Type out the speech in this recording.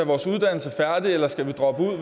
vores uddannelse færdig eller skal vi droppe ud